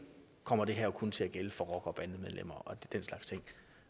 kommer det her kun til at gælde for rockere og bandemedlemmer og den slags ting